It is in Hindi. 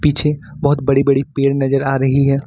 पीछे बहोत बड़ी बड़ी पेड़ नजर आ रही है।